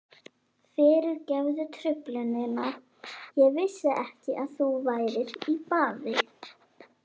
Fyrirgefðu truflunina, ég vissi ekki að þú værir í baði.